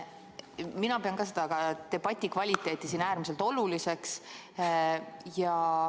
Mina pean ka debati kvaliteeti äärmiselt oluliseks.